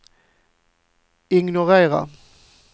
ignorera